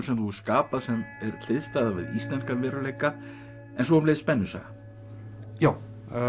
sem þú hefur skapað sem er hliðstæða við íslenskan veruleika en svo um leið spennusaga já